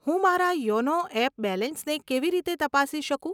હું મારા યોનો એપ બેલેન્સને કેવી રીતે તપાસી શકું?